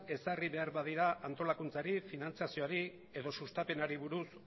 ezarri behar badira antolakuntzari finantziazioari edo sustapenari buruz